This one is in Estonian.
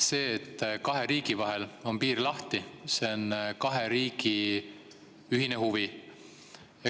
See, et kahe riigi vahel on piir lahti, on kahe riigi ühine huvi.